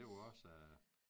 Det jo også